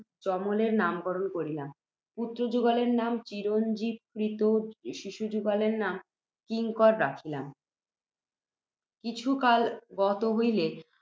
যমলের নামকরণ করিলাম, পুত্ত্রযুগলের নাম চিরঞ্জীব, ক্রীত শিশুযুগলের নাম কিঙ্কর রাখিলাম। কিছু কাল গত হইলে,